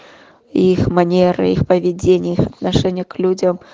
их манеры их поведение их отношение к людям